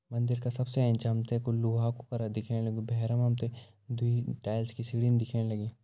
मंदिर का सबसे एंच हम तैं कुछ लोहा कु तरह दिखेण लग्युं भैर मा हम तैं दुई टाइल्स कि सीढ़ी दिखेण लगीं।